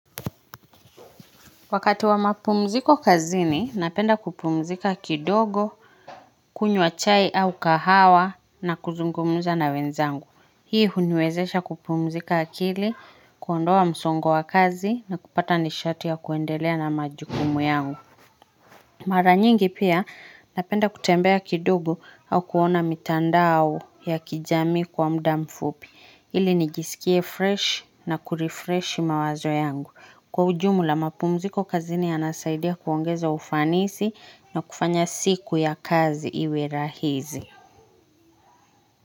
Wakati wa mapumziko kazini, napenda kupumzika kidogo, kunywa chai au kahawa na kuzungumza na wenzangu. Hii huniwezesha kupumzika akili, kuondoa msongo wa kazi na kupata nishati ya kuendelea na majukumu yangu. Mara nyingi pia, napenda kutembea kidogo au kuona mitandao au ya kijamii kwa muda mfupi. Ili nijisikie fresh na kurefresh mawazo yangu. Kwa ujumla mapumziko kazini yanasaidia kuongeza ufanisi na kufanya siku ya kazi iwe rahisi.